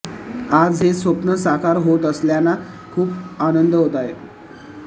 आज हे स्वप्न साकार होत असल्याना खूपच आनंद होत आहे